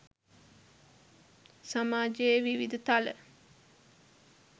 සමාජයේ විවිධ තල